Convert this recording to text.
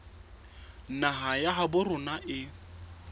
naha ya habo rona e